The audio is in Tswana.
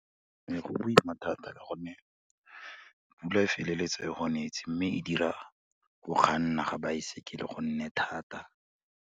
Ee, go boima thata ka gonne, pula e feleletsa e go netse mme e dira, go kganna ga baesekele go nne thata.